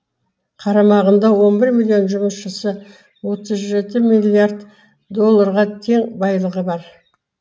қарамағында он бір миллион жұмысшысы отыз жеті миллиард долларға тең байлығы бар